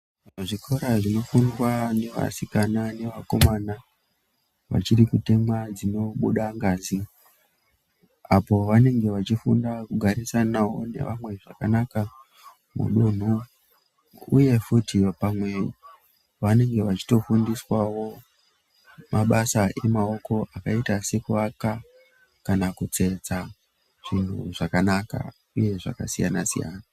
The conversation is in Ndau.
Zvikora zvinofundwa nevasikana nevakomana vachiri kutemwa dzinobuda ngazi apoo vanenge vachifunda kugarisanawo nevamwe zvakanaka mudunhu uye futhi pamwe vanenge vachitofundiswawo mabasa emaoko akaita sekuwaka kana kutsetsa zvinhu zvakanaka uye zvakasiyana siyana.